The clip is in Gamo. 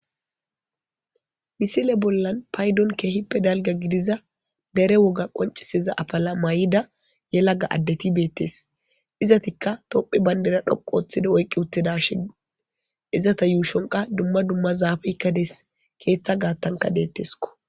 Misile bollan paydon keehippe dalga gidiza dere woga qonciseza apala may7ida ye laga addeti beettes izatikka topphi bayndera dhoqu ooththida oykqi uttidashe izata yuushonqa dumma dumma zaafikka dees keeththa gaattanka deetteskko.